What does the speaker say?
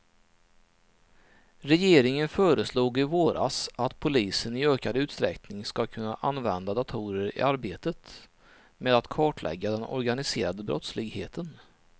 Regeringen föreslog i våras att polisen i ökad utsträckning ska kunna använda datorer i arbetet med att kartlägga den organiserade brottsligheten.